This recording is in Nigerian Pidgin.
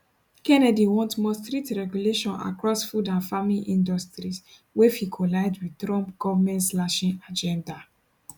kennedy want more strict regulation across food and farming industries wey fit collide wit trump govmentslashing agenda